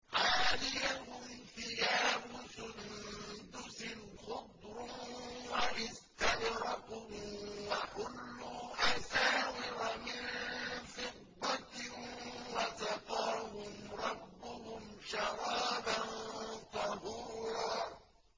عَالِيَهُمْ ثِيَابُ سُندُسٍ خُضْرٌ وَإِسْتَبْرَقٌ ۖ وَحُلُّوا أَسَاوِرَ مِن فِضَّةٍ وَسَقَاهُمْ رَبُّهُمْ شَرَابًا طَهُورًا